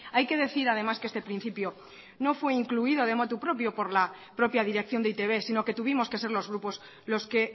hay que decir además que este principio no fue incluido de motu propio por la propia dirección de e i te be sino que tuvimos que ser los grupos los que